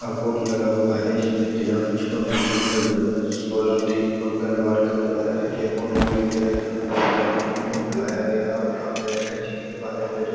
अ board लगा हुआ हैं। इसमे दिनांक छ दिसंबर दो हजार सोलह दिन मंगलवार का जो है ये बोर्ड लगी हुई हैं यहां कुछ ग्रामीणों को बुलाया गया हैं और अंबेडकर जी के बारे में जो है --